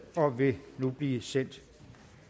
og vil nu blive sendt